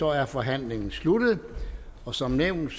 er forhandlingen sluttet som nævnt